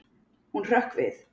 Hún hrökk við.